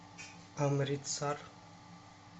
амритсар